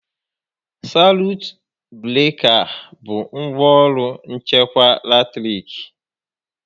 Salut breka bụ ngwá ọrụ nchekwa latiriki